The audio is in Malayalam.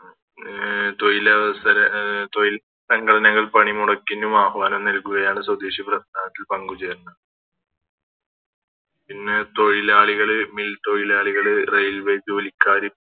ണ് ഉം തൊയിലവസര അഹ് തോയിൽ സംഘടനകൾ പണിമുടക്കിന് ആഹ്വനം നൽകുകയാണ് സ്വദേശി പ്രസ്ഥാനത്തിൽ പങ്കുചേരുന്നത് പിന്നെ തൊയിലാളികള് Mill തൊയിലാളികള് Railway ജോലിക്കാര്